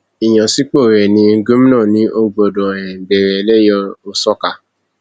ìyànsípò rẹ ní gómìnà ni o gbọdọ um bẹrẹ lẹyẹòsọkà